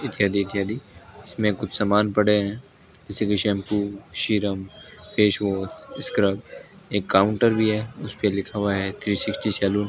इत्यादि इत्यादि इसमें कुछ समान पड़े है जैसे की shampoo serum face wash scrub एक काउंटर भी है उसपे लिखा हुआ है थ्री सिक्सटी सैलून --